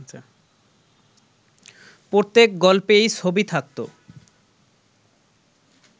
প্রত্যেক গল্পেই ছবি থাকত